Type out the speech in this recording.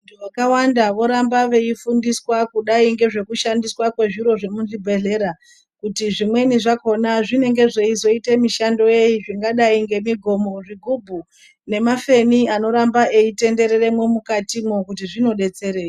Vantu vakawanda voramba veifundiswa kudai ngezvekushandiswa kwezviro zvemuzvibhedhlera. Kuti zvimweni zvakona zvinenge zveizoite mishando yei zvingadai ngemigomo, zvigubhu nemafeni anoramba eitenderere mwukatimwo kuti zvinobetserei.